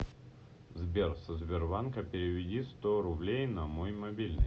сбер со сбербанка переведи сто рублей на мой мобильный